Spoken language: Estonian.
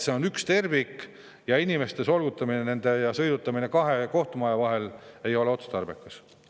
See on üks tervik ja inimeste solgutamine ja sõidutamine kahe vahel ei ole otstarbekas.